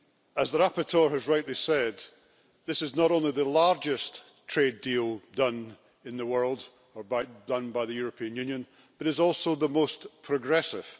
As the rapporteur has rightly said, this is not only the largest trade deal done in the world or done by the European Union, but it is also the most progressive.